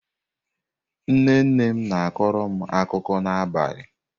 Nne nne m na-akọrọ m akụkọ n'abalị.